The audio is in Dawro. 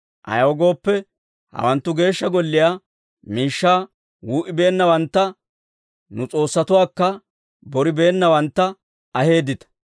Ayaw gooppe, hawanttu Geeshsha Golliyaa miishshaa wuu"ibeennawantta nu s'oossatuwaakka boribeennawantta aheeddita.